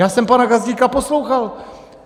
Já jsem pana Gazdíka poslouchal.